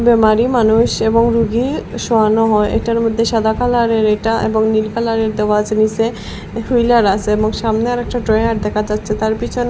বিমারি মানুষ এবং রুগী শোয়ানো হয় এটার মইধ্যে সাদা কালার -এর এটা এবং নীল কালার -এর দেওয়া আসে নিসে হুইলার আছে এবং সামনে আরেকটা ড্রয়ার দেখা যাচ্চে তার পিছনে--